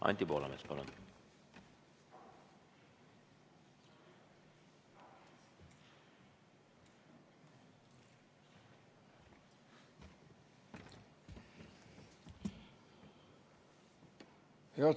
Anti Poolamets, palun!